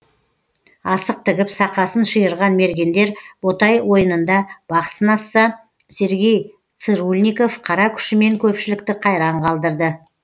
асық тігіп сақасын шиырған мергендер ботай ойынында бақ сынасса сергей цырульников қара күшімен көпшілікті қайран қалдырды